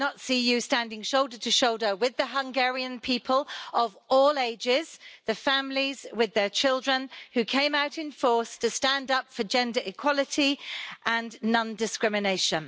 I did not see you standing shoulder to shoulder with the Hungarian people of all ages, the families with their children, who came out in force to stand up for gender equality and non discrimination.